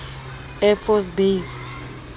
air force base